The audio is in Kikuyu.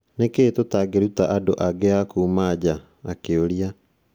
Nĩ kĩĩ tũtangĩruta andũ angĩ a kuuma nja? akĩũria.